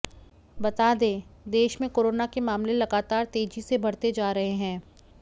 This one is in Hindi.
बता दें देश में कोरोना के मामले लगातार तेजी से बढ़ते जा रहे हैं